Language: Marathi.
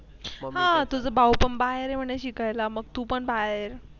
आह तुझा भाऊ पण बाहेर ये म्हणे शिकायला मग तू पण